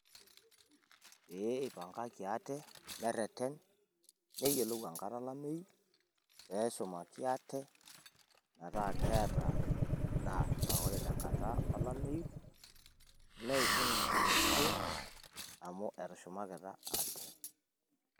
Pee ipangaki ate nerreren neyiolou enkata olameyu pee eshumaki aate metaa keeta endaa paa ore te enkata olameyu neibung' enkitotio amu etushumakitia ate.